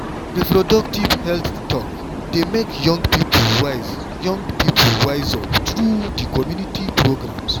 reproductive health talk dey make young people wise young people wise up through di community programs.